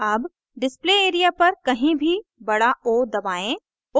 अब display area पर कहीं भी बड़ा o दबाएं